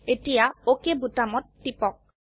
এতিয়া অক বোতামত টিপক